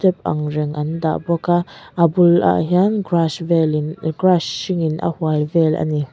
ang reng an dah bawk a a bulah hian grass velin grass hringin a hual vel a ni.